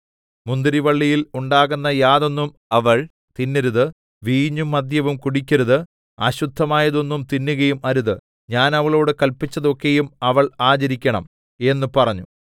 മുന്തിരിവള്ളിയിൽ ഉണ്ടാകുന്ന യാതൊന്നും അവൾ തിന്നരുത് വീഞ്ഞും മദ്യവും കുടിക്കരുത് അശുദ്ധമായതൊന്നും തിന്നുകയും അരുത് ഞാൻ അവളോട് കല്പിച്ചതൊക്കെയും അവൾ ആചരിക്കേണം എന്ന് പറഞ്ഞു